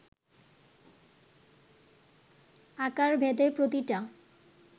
আকারভেদে প্রতিটা